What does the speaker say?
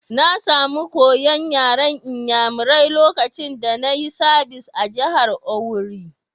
Na samu koya'n yaren n'yamarai lokacin da na yi sabis a'jihar Owerri.